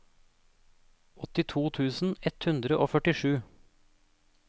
åttito tusen ett hundre og førtisju